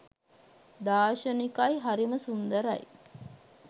දාර්ශනිකයි හරිම සුන්දරයි